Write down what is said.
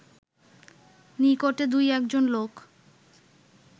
নিকটে দুই-একজন লোক